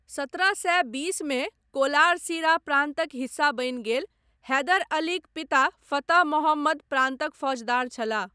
सत्रह सए बीसमे कोलार सीरा प्रान्तक हिस्सा बनि गेल, हैदर अलीक पिता फतह मोहम्मद प्रान्तक फौजदार छलाह।